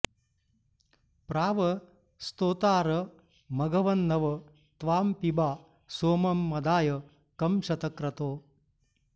प्राव॑ स्तो॒तारं॑ मघव॒न्नव॒ त्वां पिबा॒ सोमं॒ मदा॑य॒ कं श॑तक्रतो